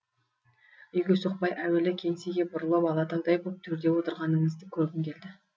үйге соқпай әуелі кеңсеге бұрылып алатаудай боп төрде отырғаныңызды көргім келді